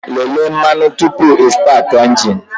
Lelee mmanụ tupu ịstaatị a injin!